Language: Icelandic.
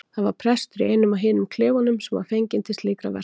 Það var prestur í einum af hinum klefunum sem var fenginn til slíkra verka.